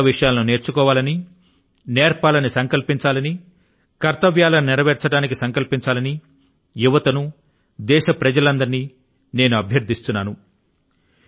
కొత్త విషయాలను నేర్చుకోవాలని నేర్పాలని సంకల్పించాలని కర్తవ్యాలను నెరవేర్చడానికి సంకల్పించాలని యువత ను దేశ ప్రజలందరినీ నేను అభ్యర్థిస్తున్నాను